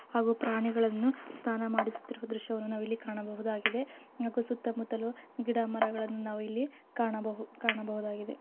ಹಾಗೂ ಪ್ರಾಣಿಗಳನ್ನು ಸ್ಥಾನ ಮಾಡಿಸುತ್ತಿರುವ ದೃಶ್ಯವನ್ನು ನಾವ್ ಇಲ್ಲಿ ಕಾಣಬಹುದಾಗಿದೆ ನಾಲ್ಕು ಸುತ್ತಮುತ್ತಲು ಗಿಡ ಮರಗಳನ್ನು ನಾವು ಇಲ್ಲಿ ಕಾಣಬಹು ಕಾಣಬಹುದಾಗಿದೆ.